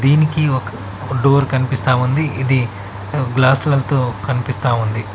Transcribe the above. దీనికి ఒక్ డోర్ కన్పిస్తా ఉంది ఇది గ్లాసులతో కన్పిస్తా ఉంది.